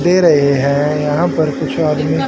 दे रहे हैं यहां पर कुछ आदमी--